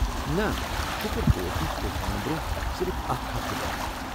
نہ ، شُکر بہٕ اوسُس طوفانہٕ برٛونٛہہ صرف اكھ ہفتہٕ درٛامُت ۔